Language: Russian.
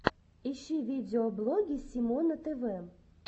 ищи видеоблоги симона тв